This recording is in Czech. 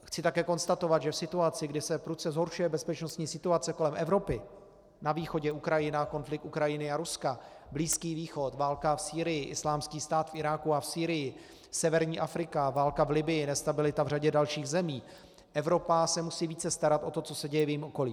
Chci také konstatovat, že v situaci, kdy se prudce zhoršuje bezpečnostní situace kolem Evropy, na východě Ukrajina, konflikt Ukrajiny a Ruska, Blízký východ, válka v Sýrii, Islámský stát v Iráku a v Sýrii, severní Afrika, válka v Libyi, nestabilita v řadě dalších zemí, Evropa se musí více starat o to, co se děje v jejím okolí.